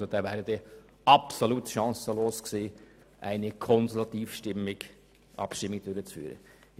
Denn es wäre erst recht absolut chancenlos gewesen, hätte man eine solche Konsultativabstimmung durchführen wollen.